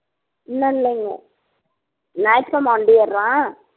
இன்னும் இல்லைங்க ஞாயற்றுக்கிழமை வண்டி ஏறுறான்